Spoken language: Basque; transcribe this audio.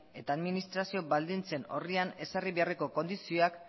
eta administrazio baldintzen orrian ezarri beharreko kondizioak